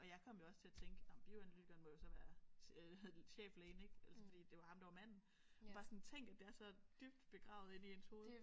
Og jeg kom jo også til at tænke nåh men bioanalytikeren må jo så være øh cheflægen ik altså fordi det var ham der var manden bare sådan tænk at det er så dybt begravet inde i ens hoved